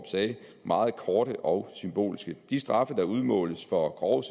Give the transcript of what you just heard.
sagde meget korte og symbolske de straffe der udmåles for grove